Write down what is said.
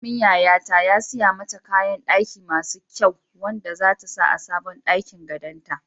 Manemin yayata ya siya mata kayan ɗaki masu kyau wanda zata sa a sabon ɗakin gadon ta.